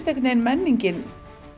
einhvern veginn menningin